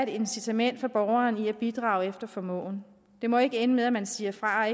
incitament for borgeren til at bidrage efter formåen det må ikke ende med at man siger fra